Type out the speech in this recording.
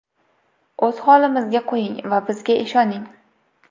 O‘z holimizga qo‘ying va bizga ishoning.